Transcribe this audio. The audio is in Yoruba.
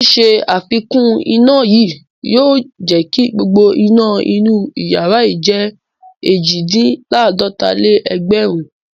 Ṣíṣe àfikún iná yìí yóò jẹ kí gbogbo iná inú ìyàrá yìí jẹ́ èjì-dín-láàdọta-lé-ẹgbẹ̀rún.